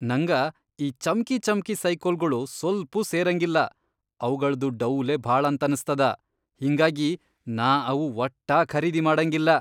ನಂಗ ಈ ಚಮ್ಕಿಚಮ್ಕಿ ಸೈಕಲ್ಗೊಳು ಸ್ವಲ್ಪೂ ಸೇರಂಗಿಲ್ಲಾ ಅವಗಳ್ದು ಡೌಲೇ ಭಾಳಂತನಸ್ತದ, ಹಿಂಗಾಗಿ ನಾ ಅವು ವಟ್ಟಾ ಖರೀದಿ ಮಾಡಂಗಿಲ್ಲಾ.